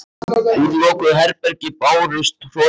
Úr lokuðu herbergi bárust hroturnar í pabba.